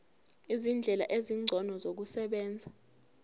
izindlela ezingcono zokusebenza